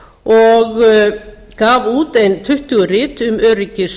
og gaf út ein tuttugu rit um öryggis